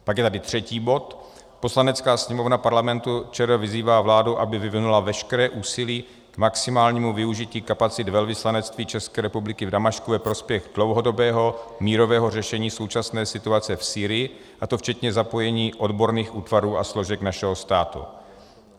Pak je tady třetí bod: "Poslanecká sněmovna Parlamentu ČR vyzývá vládu, aby vyvinula veškeré úsilí k maximálnímu využití kapacit Velvyslanectví České republiky v Damašku ve prospěch dlouhodobého mírového řešení současné situace v Sýrii, a to včetně zapojení odborných útvarů a složek našeho státu."